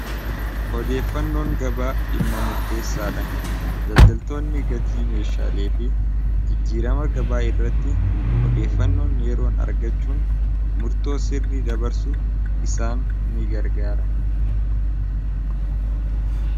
odeeffannoon gabaa dhimma murteessaa dha daldaltoonni gatii meeshaalee fi jijjiirama gabaa irratti odeeffannoon yeeroon argachuun murtoo sirri dabarsuu isaan ni gargaara